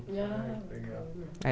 Ah, legal.